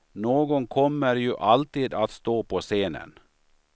Någon kommer ju alltid att stå på scenen.